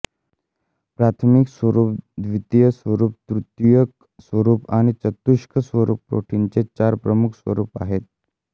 प्राथमिक स्वरूप द्वितीयक स्वरूप तृतीयक स्वरूप आणि चतुष्क स्वरूप प्रोटीन चे चार प्रमुख स्वरुप आहेत